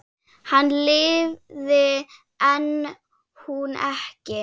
Hann lifði en hún ekki.